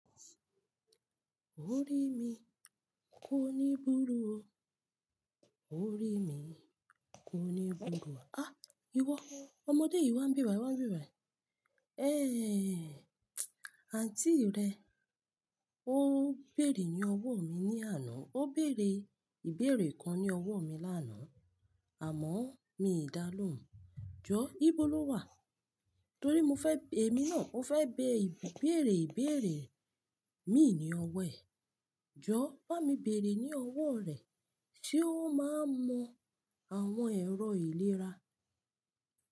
O rí mi, kó ní burú o. O rí mi, kó ní burú o. Ah! Iwọ, ọmọdé yìí wá ń bí bàyi wá ń bí bàyi. Eh! Àǹtí rẹ, ó béèrè ní ọwọ́ mi ní àná. Ó béèrè ìbéèrè kan ní ọwọ́ mi lánàá, àmọ́ mi dà á lóhùn. Jọ, ibo lo wà? Torí mo fẹ́, èmi náà, ó fẹ́ bẹ ìbéèrè ìbéèrè mi ní ọwọ́ ẹ̀. Jọ, bá mi béèrè ní ọwọ́ rẹ̀ sé ó máa mu àwọn èrọ ìlera.